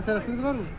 Xəsarətiniz varmı?